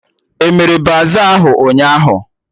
Emere baza ahụ ụnyaahụ?